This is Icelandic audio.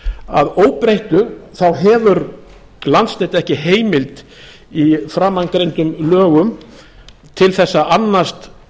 að óbreyttu þá hefur landsnet ekki heimild í framangreindum lögum til þess að annast